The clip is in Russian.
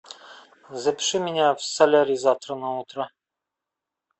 запиши меня в солярий завтра на утро